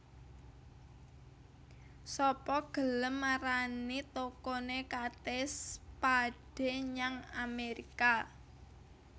Sapa gelem marani tokone Kate Spade nyang Amerika